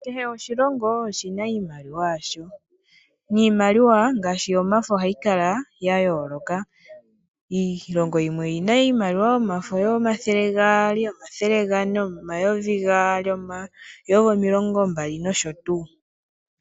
Kehe oshilongo oshi na iimaliwa yasho. Iimaliwa yomafo oha yi kala yayooloka. Iilongo yimwe oyi na iimaliwa yomafo yongushu yo 200, 400, 2000, 20 000 nosho tuu.